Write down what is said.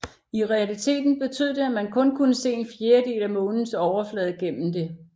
I realiteten betød det at man kun kunne se en fjerdedel af månens overflade gennem det